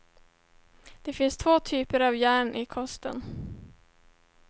Det finns två typer av järn i kosten.